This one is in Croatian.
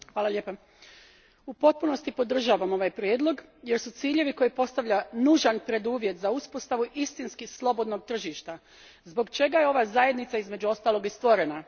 Gospodine predsjedniče, u potpunosti podržavam ovaj prijedlog jer su ciljevi koje postavlja nužan preduvjet za uspostavu istinski slobodnog tržišta, zbog čega je ova zajednica između ostalog i stvorena.